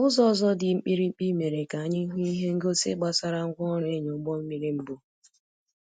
Ụzọ ọzọ dị mkpirikpi mere ka anyị hụ ihe ngosi gbasara ngwa orụ ịnya ụgbọ mmiri mbụ